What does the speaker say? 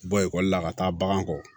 Bɔ ekɔli la ka taa bagan kɔ